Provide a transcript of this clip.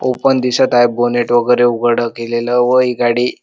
open दिसत आहे bonnet वगैरे उघड केलेल व ही गाडी--